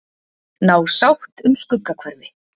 Ná sátt um Skuggahverfi